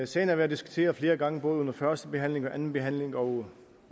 sagen har været diskuteret flere gange både under første behandling og anden behandling og